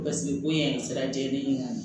Basigi ko in sira jɛlen ka ɲɛ